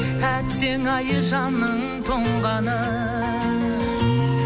әттең ай жанның тоңғаны